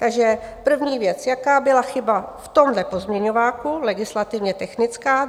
Takže první věc - jaká byla chyba v tomhle pozměňováku legislativně technická?